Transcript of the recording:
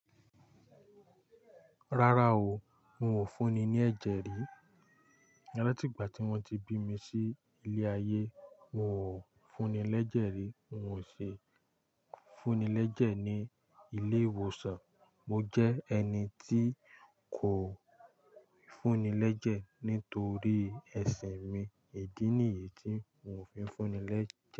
Rárá o, n ò fúnni ní ẹ̀jẹ̀ rí. Látìgbà tí wọ́n ti bí mi sí ilé ayé, n ò fúnni lẹ̀jẹ̀ rí. N ò ṣe fúnni l'ẹ̀jẹ̀ ní ilé ìwòsàn. Mo jẹ́ ẹni tí kò fúnni lẹ̀jẹ̀ nítorí ẹṣin mi. Idí nìyí tí n ò fi fúnni lẹ̀jẹ̀